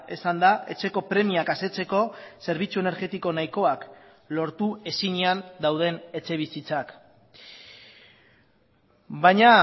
esanda etxeko premiak asetzeko zerbitzu energetiko nahikoak lortu ezinean dauden etxebizitzak baina